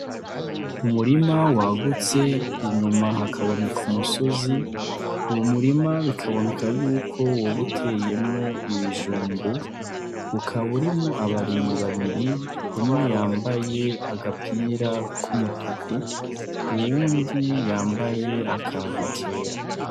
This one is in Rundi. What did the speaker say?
Umurima wagutse inyuma hakaboneka umusozi uwu murima bikaboneka yuko wobuteyemwo ibijumbu ukaburimo abarimi babiri umwe yambaye agapira k'umutuku uwundi yambaye akantu kera.